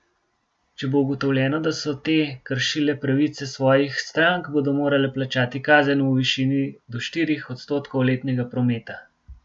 Če bo ugotovljeno, da so te kršile pravice svojih strank, bodo morale plačati kazen v višini do štirih odstotkov letnega prometa.